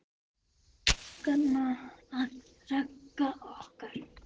Elsku Ragga okkar.